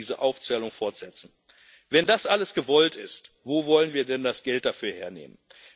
Ich könnte diese Aufzählung fortsetzen. Wenn das alles gewollt ist, wo wollen wir denn das Geld dafür hernehmen?